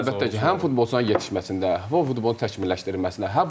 Əlbəttə ki, həm futbolçuna yetişməsində, bu futbolun təkmilləşdirilməsində.